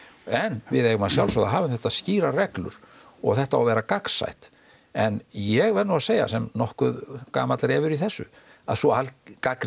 en við eigum að sjálfsögðu að hafa þetta skýrar reglur og þetta á að vera gagnsætt en ég verð nú að segja sem nokkuð gamall refur í þessu að sú gagnrýni